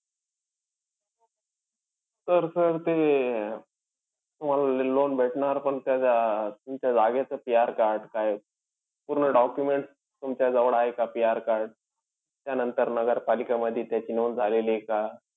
तर sir ते तुम्हाला loan भेटणार पण त्या अं तुमच्या जागेचं PR card काय, पूर्ण documents तुमच्याजवळ आहे का PR card? त्यानंतर नगरपालिकामध्ये त्याची नोंद झालेलीय का?